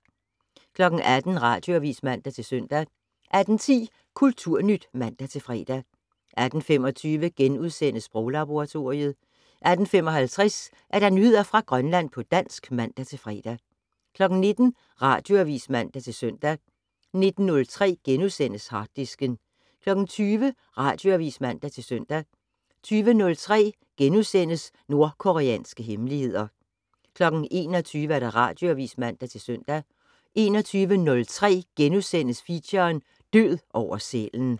18:00: Radioavis (man-søn) 18:10: Kulturnyt (man-fre) 18:25: Sproglaboratoriet * 18:55: Nyheder fra Grønland på dansk (man-fre) 19:00: Radioavis (man-søn) 19:03: Harddisken * 20:00: Radioavis (man-søn) 20:03: Nordkoreanske hemmeligheder * 21:00: Radioavis (man-søn) 21:03: Feature: Død over sælen *